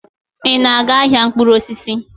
Ị na-aga ahịa mkpụrụ osisi?